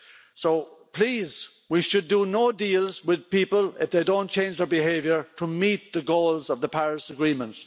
So please, we should do no deals with people if they don't change their behaviour to meet the goals of the Paris Agreement.